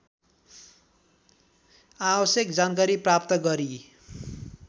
आवश्यक जानकारी प्राप्त गरी